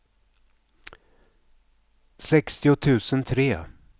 sextio tusen tre